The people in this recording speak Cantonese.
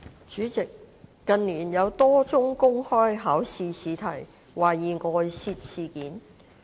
主席，近年，有多宗公開試試題懷疑外泄事件。